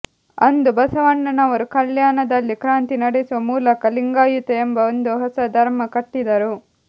ಅಂದು ಬಸವಣ್ಣನವರು ಕಲ್ಯಾಣದಲ್ಲಿಕ್ರಾಂತಿ ನಡೆಸುವ ಮೂಲಕ ಲಿಂಗಾಯತ ಎಂಬ ಒಂದು ಹೊಸ ಧರ್ಮ ಕಟ್ಟಿದ್ದರು